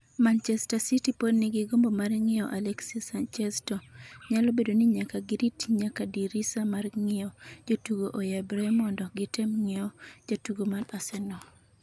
Manchester City pod nigi gombo mar ng’iewo Alexis Sanchez to nyalo bedo ni nyaka girit nyaka dirisa mar ng’iewo jotugo oyabere mondo gitem ng’iewo jatugo mar Arsenal.